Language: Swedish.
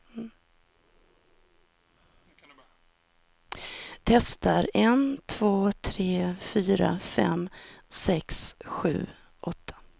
Testar en två tre fyra fem sex sju åtta.